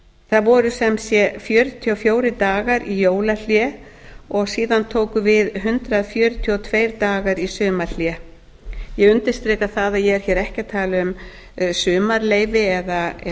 það voru sem sé fjörutíu og fjórir dagar í jólahlé og síðan tókum við hundrað fjörutíu og tvo daga í sumarhlé ég undirstrika að ég er hér ekki að tala um sumarleyfi eða